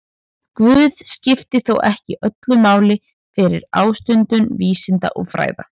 Guð skipti þó ekki öllu máli fyrir ástundun vísinda og fræða.